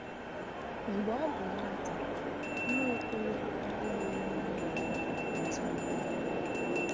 Mgbe ọ bụ nwata, Nwaokolo abụghị onye a ma ama n’ezinụlọ ya.